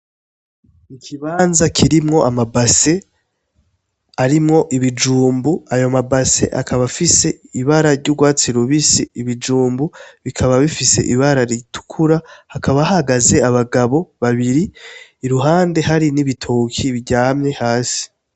Ikibanza kirimwo amabase, arimwo ibijumbu, ayo mabase akaba afise ibara ry'ugwatsi rubisi, ibijumbu bikaba bifise ibara ritukura, hakaba hahagaze abagabo babiri, iruhande hari n'ibitoki biryamye hasi.